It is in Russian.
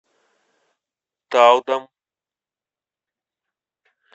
талдом